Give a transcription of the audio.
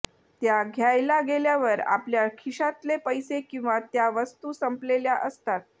त्या घ्यायला गेल्यावर आपल्या खिशातले पैसे किंवा त्या वस्तू संपलेल्या असतात